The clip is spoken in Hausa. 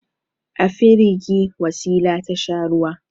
A firigi Wasila ta sha ruwa.